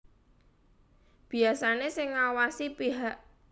Biasané sing ngawasi pihak